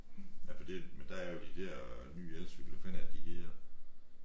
Nej for det men der er jo de der nye elcykler hvad fanden er det de hedder